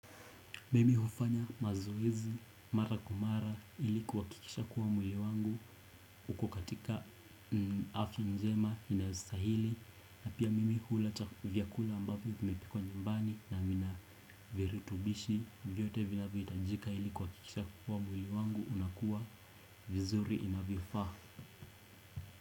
Mimi hufanya mazoezi mara kwa mara ili kuhakikisha kuwa mwili wangu uko katika afya njema inayostahili na pia mimi ula vyakula ambavyo vimepikwa nyumbani na vina viritubishi vyote vinavyohitajika ili kuhakikisha kuwa mwili wangu unakuwa vizuri inavyofaa.